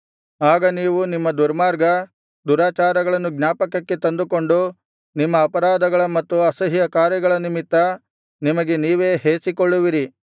ಆಗ ನೀವು ನಿಮ್ಮ ದುರ್ಮಾರ್ಗ ದುರಾಚಾರಗಳನ್ನು ಜ್ಞಾಪಕಕ್ಕೆ ತಂದುಕೊಂಡು ನಿಮ್ಮ ಅಪರಾಧಗಳ ಮತ್ತು ಅಸಹ್ಯಕಾರ್ಯಗಳ ನಿಮಿತ್ತ ನಿಮಗೆ ನೀವೇ ಹೇಸಿಕೊಳ್ಳುವಿರಿ